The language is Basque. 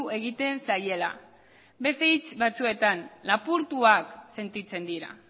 egiten zaiela beste hitz batzuetan lapurtuak sentitzen dira